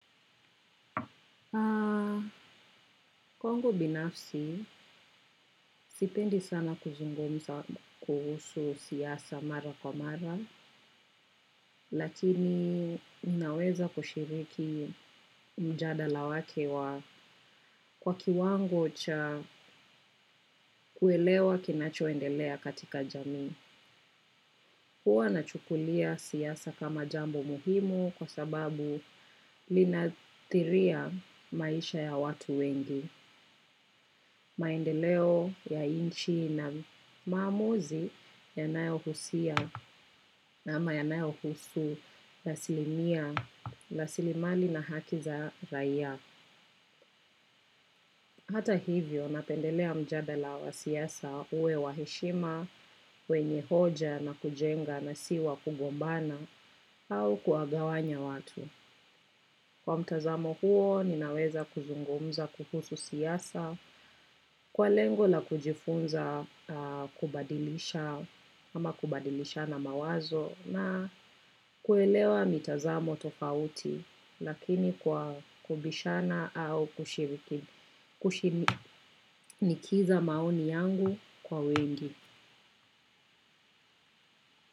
Kwangu binafsi, sipendi sana kuzungumza kuhusu siasa mara kwa mara, lakini unaweza kushiriki mjadala wake wa kwa kiwango cha kuelewa kinachoendelea katika jamii. Huwa na chukulia siasa kama jambo muhimu kwa sababu linatihiria maisha ya watu wengi. Maendeleo ya inchi na maamuzi ya nayo husia na ama ya nayo husu asilimia rasilimali na hakiza raia. Hata hivyo, napendelea mjadala wa siasa uwe wahishima, wenye hoja na kujenga na si wa kugombana au kuwagawanya watu. Kwa mtazamo huo, ninaweza kuzungumza kuhusu siasa, kwa lengo la kujifunza kubadilisha, ama kubadilisha na mawazo, na kuelewa mitazamo tofauti, lakini kwa kubishana au kushiriki, kushinikiza maoni yangu kwa wengi.